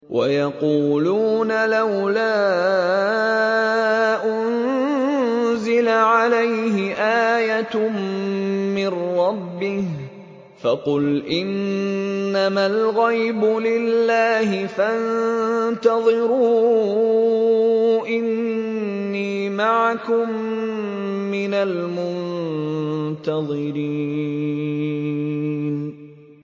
وَيَقُولُونَ لَوْلَا أُنزِلَ عَلَيْهِ آيَةٌ مِّن رَّبِّهِ ۖ فَقُلْ إِنَّمَا الْغَيْبُ لِلَّهِ فَانتَظِرُوا إِنِّي مَعَكُم مِّنَ الْمُنتَظِرِينَ